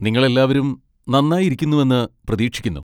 നിങ്ങൾ എല്ലാവരും നന്നായി ഇരിക്കുന്നുവെന്ന് പ്രതീക്ഷിക്കുന്നു.